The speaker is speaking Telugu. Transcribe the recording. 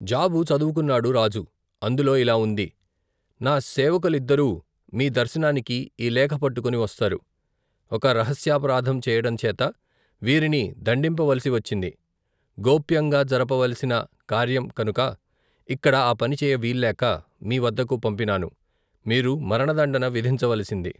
జాబు చదువుకొన్నాడు రాజు అందులో ఇలా వుంది నా సేవకులిద్దరూ మీ దర్శనానికి ఈ లేఖ పట్టుకొని వస్తారు ఒక రహస్యాపరాధం చేయడం చేత వీరిని దండింపవలసి వచ్చింది గోప్యంగా జరపవలసిన కార్యం కనుక ఇక్కడ, ఆ పనిచేయ వీల్లేక మీ వద్దకు పంపినాను మీరు మరణదండన విధించవలసింది.